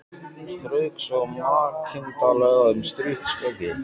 Strauk svo makindalega um strítt skeggið.